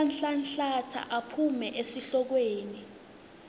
uyanhlanhlatsa aphume esihlokweni